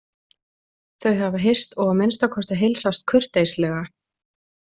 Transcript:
Þau hafa hist og að minnsta kosti heilsast kurteislega.